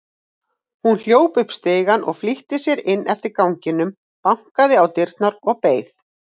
Hún hljóp upp stigana og flýtti sér inn eftir ganginum, bankaði á dyrnar og beið.